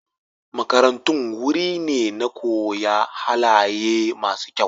Makarantun wuri ne na koya halaye masu kyau.